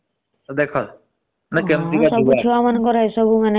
ସେ କହିଲା ଛୋଲା ଭଟୁରା ଦରକାର। ଦେଖ କେମତିକା ଛୁଆ।